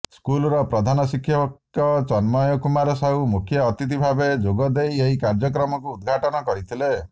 ସ୍କୁଲର ପ୍ରଧାନ ଶିକ୍ଷକ ତନ୍ମୟ କୁମାର ସାହୁ ମୁଖ୍ୟ ଅତିଥି ଭାବେ ଯୋଗଦେଇ ଏହି କାର୍ଯ୍ୟକ୍ରମକୁ ଉଦଘାଟନ କରିଥିଲେ